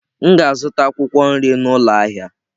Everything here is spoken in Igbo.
M ga-azụta akwụkwọ nri n'ụlọ ahịa.